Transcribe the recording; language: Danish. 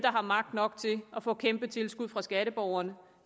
og magt nok til at få kæmpetilskud fra skatteborgerne